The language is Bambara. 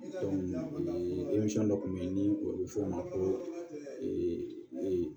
dɔ kun bɛ yen ni o bɛ fɔ o ma ko